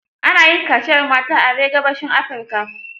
Ana yin kaciyar mata are gabashin Afirika.